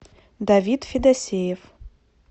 давид федосеев